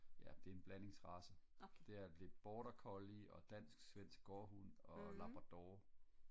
ja det er en blandingsrace det er det border collie og dansk svensk gårdhund og labrador